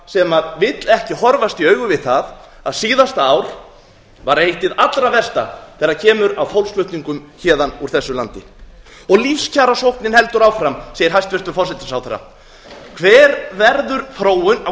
sem vill ekki horfast í augu við það að síðasta ár var eitt hið allra versta þegar kemur að fólksflutningum héðan úr þessu landi lífskjarasóknin heldur áfram segir hæstvirtur forsætisráðherra hver verður þróun á